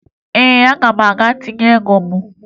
Ee, aga m aga tinye ego m